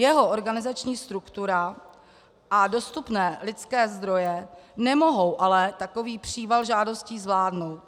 Jeho organizační struktura a dostupné lidské zdroje nemohou ale takový příval žádostí zvládnout.